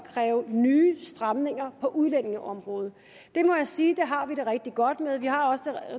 at kræve nye stramninger på udlændingeområdet det må jeg sige at vi har det rigtig godt med vi har